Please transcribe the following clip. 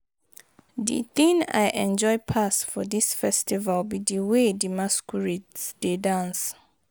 The thing I enjoy pass for dis festival be the way the masquerades dey dance